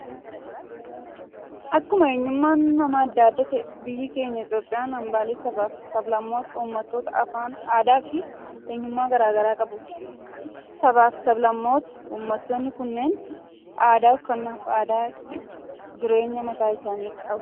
Akkuma eenyummaan namaa addaa addaa ta'e, biyyi keenya Itoophiyaan hambaalee sabaa fi sablammootaa, uummattoota afaan, aadaa fi eenyummaa garaagaraa qabuti. Sabaa fi sablammootaa, uummattootni kunneen aadaa uffannaa fi aadaa jireenyaa mataa isaanii qabu.